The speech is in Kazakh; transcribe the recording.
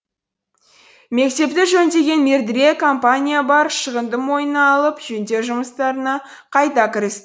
мектепті жөндеген мердігер компания бар шығынды мойнына алып жөндеу жұмыстарына қайта кіріс